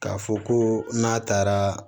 K'a fɔ ko n'a taara